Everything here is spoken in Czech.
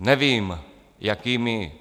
Nevím, jakými